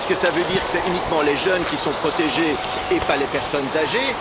Est ce que cela veut dire que ce sont uniquement les jeunes qui sont protégés et pas les personnes âgées?